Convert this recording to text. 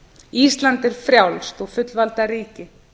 ísland er frjálst og fullvalda ríki